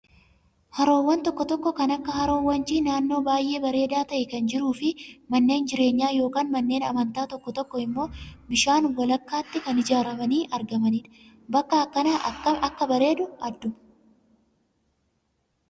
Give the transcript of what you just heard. Haroowwan tokko tokko kan akka haroo wancii naannoo baay'ee bareedaa ta'e kan jiruu fi manneen jireenyaa yookaan manneen amantaa tokko tokko immoo bishaan walakkaatti kan ijaaramanii argamanidha. Bakki akkanaa akkam akka bareedu adduma.